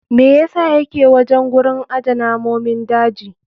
Me yasa yake wajen gurin aje namomin daji?